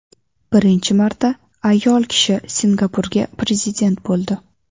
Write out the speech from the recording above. Birinchi marta ayol kishi Singapurga prezident bo‘ldi .